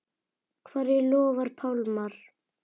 Hverju lofar Pálmar?